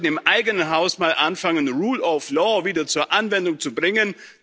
Wir sollten im eigenen Haus mal anfangen, Rule of Law wieder zur Anwendung zu bringen.